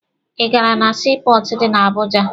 Ị gara na sii pọọtụ dị na Abuja?